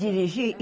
A dirigir?